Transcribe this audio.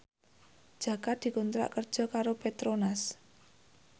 Jaka dikontrak kerja karo Petronas